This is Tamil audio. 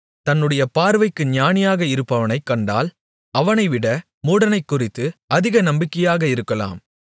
தன்னுடைய பார்வைக்கு ஞானியாக இருப்பவனைக் கண்டால் அவனைவிட மூடனைக்குறித்து அதிக நம்பிக்கையாக இருக்கலாம்